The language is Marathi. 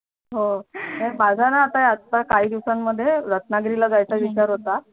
माझ्याणा आता या काही दिवसांमध्ये रत्नागिरीला जायच्या विचार होता